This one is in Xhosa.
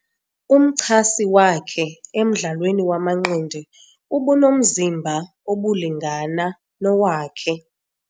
Umchasi wakhe emdlalweni wamanqindi ubunomzimba obulingana nowakhe.